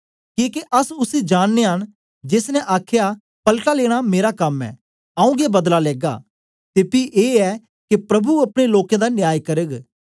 किके अस उसी जाननयां न जेस ने आखया पलटा लेना मेरा कम ऐ आऊँ गै बदला देगा ते पी ऐ के प्रभु अपने लोकें दा न्याय करग